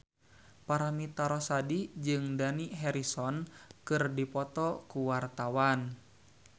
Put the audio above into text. Paramitha Rusady jeung Dani Harrison keur dipoto ku wartawan